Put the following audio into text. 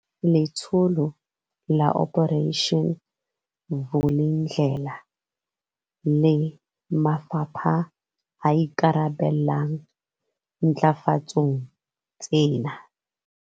Letsholo la Operation Vulindlela le mafapha a ikarabellang ntlafatsong tsena.